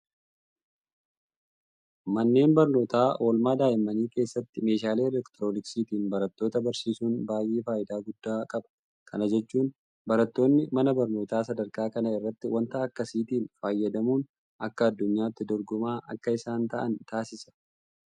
Manneen barnootaa oolmaa daa'immanii keessatti meeshaalee elektirooniksiitiin barattoota barsiisuun baay'ee faayidaa guddaa qaba. Kana jechuun barattoonni mana barnootaa sadarkaa kana irratti waanta akkasiitiin fayyadamuun akka addunyaatti dorgomaa akka isaan ta'an taasisa.